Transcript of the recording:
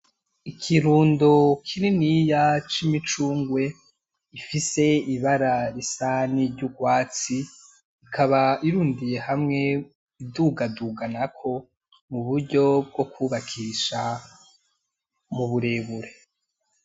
Ikirundo kininiya c'imicungwe gifise ibara risa niry'urwatsi, ikaba irundiye hamwe udugaduganako mu buryo bwo kwubakisha mu burebure.